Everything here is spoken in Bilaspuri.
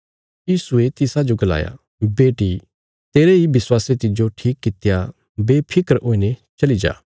यीशुये तिसाजो गलाया बेटी तेरे इ विश्वासे तिज्जो ठीक कित्या बेफिक्र हुईने चली जा